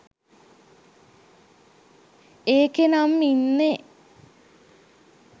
ඒකෙනම් ඉන්නෙ